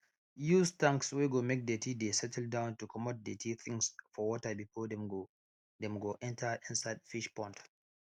use tanks wey go make dirty de settle down to comot dirty things for water before dem go dem go enter inside fish pond